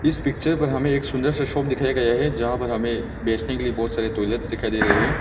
इस पिक्चर में हमे एक सुंदर सा शॉप दिखाया गया है जहां पे हमे बेचने के लिए बहुत सारे ट्वायलेट्स दिखाई दे रहे है।